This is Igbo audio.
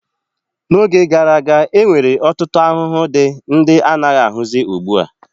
N'oge gara aga, e nwere ọtụtụ ahụhụ dị ndị anaghị ahụzi ugbua.